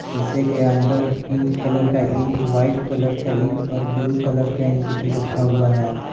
शीशे के अंदर पिंक कलर का इंक व्हाइट कलर का इंक और ब्लू कलर का इंक भी रखा हुआ है।